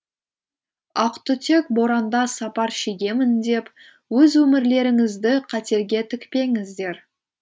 ақтүтек боранда сапар шегемін деп өз өмірлеріңізді қатерге тікпеңіздер